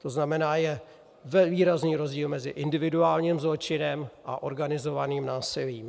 To znamená, je výrazný rozdíl mezi individuálním zločinem a organizovaným násilím.